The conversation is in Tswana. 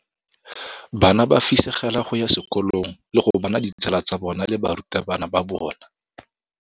Bana ba fisegela go ya sekolong le go bona ditsala tsa bona le barutabana ba bona.